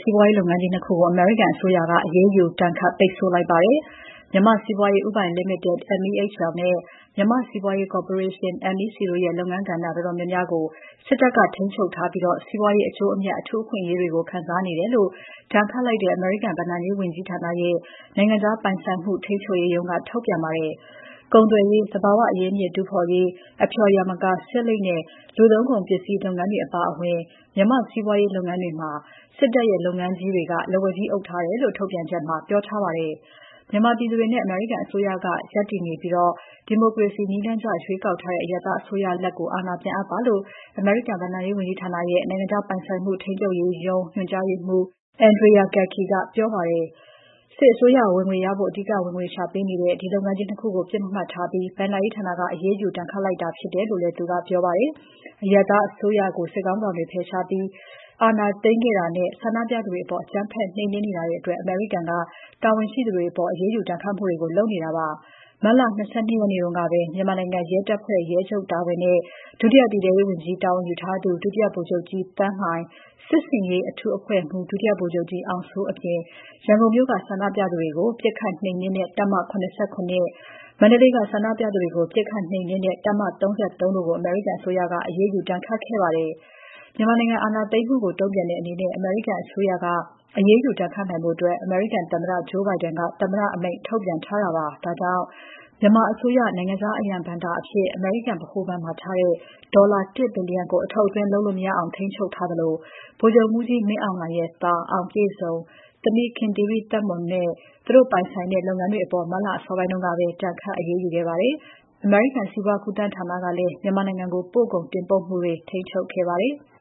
စီးပွားရေးလုပ်ငန်းကြီး နှစ် ခုကို အမေရိကန်အစိုးရက အရေးယူ ဒဏ်ခတ် ပိတ်ဆို့လိုက်ပါတယ်။ မြန်မာ့စီးပွားရေး ဦးပိုင်လီမိတက် (MEHL) နဲ့ မြန်မာ့ စီးပွားရေး ကော်ပိုရေးရှင်း (MEC) တို့ရဲ့ လုပ်ငန်းကဏ္ဍ တော်တော်များများကို စစ်တပ်က ထိန်းချုပ်ထားပြီး၊ စီးပွားရေး အကျိုးအမြတ် အထူးအခွင့်အရေးတွေကို ခံစားနေတယ်လို့ ဒဏ်ခတ်လိုက်တဲ့ အမေရိကန်ဘဏ္ဍာရေးဝန်ကြီဌာနရဲ့ နိုင်ငံခြားပိုင်ဆိုင်မှု ထိန်းချုပ်ရေးရုံးက ထုတ်ပြန်ပါတယ်။ ကုန်သွယ်ရေး၊ သဘာဝအရင်းအမြစ်တူးဖော်ရေး၊ အဖျော်ယာမကာ၊ ဆေးလိပ်နဲ့ လူသုံးကုန်ပစ္စည်းတို့နဲ့ဆိုင်တဲ့ စီးပွားရေးလုပ်ငန်းတွေမှာ စစ်တပ်ရဲ့ လုပ်ငန်းကြီးတွေက လက်ဝါးကြီးအုပ်ထားတယ်လို့ ထုတ်ပြန်ချက်မှာ ပြောထားပါတယ်။ မြန်မာပြည်သူတွေနဲ့ အမေရိကန်အစိုးရက ရပ်တယ်နေပြီး၊ ဒီမိုကရေစီနည်းကျရွေးကောက်ထားတဲ့ အရပ်သားအစိုးရလက် အာဏာပြန်အပ်ပါလို့ အမေရိကန်ဘဏ္ဍာရေးဝန်ကြီဌာနရဲ့ နိုင်ငံခြားပိုင်ဆိုင်မှု ထိန်းချုပ်ရေးရုံး ညွှန်ကြားရေးမှူး Andrea M. Gacki ကပြောပါတယ်။ စစ်အစိုးရ ဝင်ငွေရဖို့ အဓိက ဝင်ငွေရှာပေးနေတဲ့ ဒီလုပ်ငန်းကြီး ၂ ခုကို ပစ်မှတ်ထားပြီး ဘဏ္ဍာရေးဌာက အရေးယူ ဒဏ်ခတ်လိုက်တာဖြစ်တယ်လို့သူကပြောပါတယ်။ အရပ်သားအစိုးရကို စစ်ခေါင်းဆောင်တွေက ဖယ်ရှားပြီး အာဏာသိမ်းခဲ့တာနဲ့၊ ဆန္ဒပြသူတွေအပေါ် အကြမ်းဖက် နှိမ်နင်းနေတာအတွက် အမေရိကန်က တာဝန်ရှိသူတွေအပေါ် အရေးယူဒဏ်ခတ်မှုတွေ လုပ်နေတာပါ။ မတ်လ ၂၂ ရက်နေ့ကပဲ မြန်မာနိုင်ငံရဲတပ်ဖွဲ့ ရဲချုပ်တာဝန်နဲ့ ဒုတိယပြည်ထဲရေးဝန်ကြီး တာဝန်ယူထားသူ ဒုတိယဗိုလ်ချုပ်ကြီး သန်းလှိုင်၊ စစ်ဆင်ရေးအထူးအဖွဲ့မှူး ဒုတိယဗိုလ်ချုပ်ကြီး အောင်စိုးအပြင်၊ ရန်ကုန်မြို့က ဆန္ဒပြသူတွေကို ပစ်ခတ် နှိမ်နှင်းတဲ့ တပ်မ ၇၇၊ မန္တလေးက ဆန္ဒပြသူတွေကို ပစ်ခတ်နှိမ်နင်းတဲ့ တပ်မ ၃၃ တို့ကို အမေရိကန်အစိုးရက အရေးယူဒဏ်ခတ်ခဲ့ပါတယ်။ မြန်မာနိုင်ငံ အာဏာသိမ်းမှုကို တုံ့ပြန်တဲ့အနေနဲ့ အမေရိကန်အစိုးရက အရေးယူဒဏ်ခတ်နိုင်ဖို့ အမေရိကန်သမ္မတ Joe Biden က သမ္မတအမိန့်ထုတ်ပြန်ထားတာပါ။ ဒါကြောင့် မြန်မာအစိုးရ နိုင်ငံခြားအရန်ဘဏ္ဍာအဖြစ် အမေရိကန် ဗဟိုဘဏ်မှာထားတဲ့ ဒေါ်လာ ၁ ဘီလီယံကို အထုတ်အသွင်း လုပ်လို့ မရအောင် ထိန်းချုပ်ထားသလို ဗိုလ်ချုပ်မှူးကြီးမင်းအောင်လှိုင်ရဲ့ သား အောင်ပြည့်စုံ၊ သမီး ခင်သီရိသက်မွန်နဲ့ သူတို့ပိုင်ဆိုင်မှုတွေ လုပ်ငန်းတွေအပေါ် မတ်လ အစောပိုင်းကပဲ ဒဏ်ခတ် အရေးယူခဲ့ပါတယ်။ အမေရိကန် စီးပွားကူးသန်းဌာနကလည်း မြန်မာနိုင်ငံကို ပို့ကုန်တင်ပို့မှုတွေ ထိန်းချုပ်ခဲ့ပါတယ်။